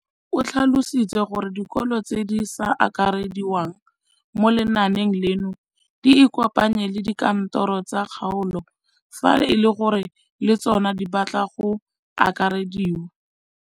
O tlhalositse gore dikolo tse di sa akarediwang mo lenaaneng leno di ikopanye le dikantoro tsa kgaolo fa e le gore le tsona di batla go akarediwa.